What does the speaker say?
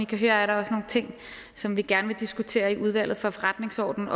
kan høre er der også nogle ting som vi gerne vil diskutere i udvalget for forretningsordenen